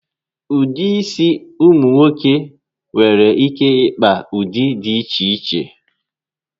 Ụdị isi ụmụ nwoke nwere ike ịkpa di iche iche